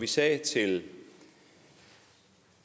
vi sagde til